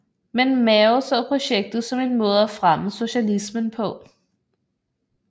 Men Mao så projektet som en måde at fremme socialismen på